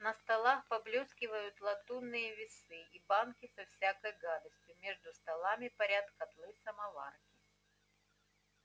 на столах поблёскивают латунные весы и банки со всякой гадостью между столами парят котлы-самоварки